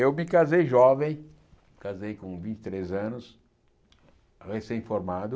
Eu me casei jovem, casei com vinte e três anos, recém-formado.